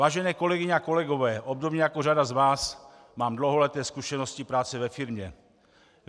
Vážené kolegyně a kolegové, obdobně jako řada z vás mám dlouholeté zkušenosti práce ve firmě.